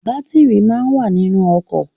Batiri máa ń wà nínú ọkọ̀